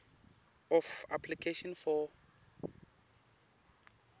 of application for